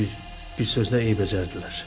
bir sözlə eybəcərdilər.